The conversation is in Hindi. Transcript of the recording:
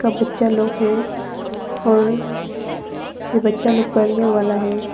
अ बच्चा लोग है और ये बच्चा लोग पढ़ने वाला है।